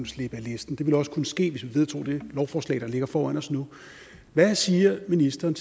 slippe af listen det ville også kunne ske hvis vi vedtog det lovforslag der ligger foran os nu hvad siger ministeren